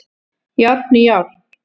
Járn í járn